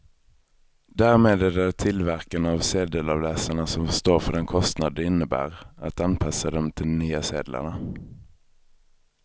Därmed är det tillverkarna av sedelavläsarna som får stå för den kostnad det innebär att anpassa dem till de nya sedlarna.